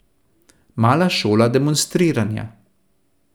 Mala šola demonstriranja.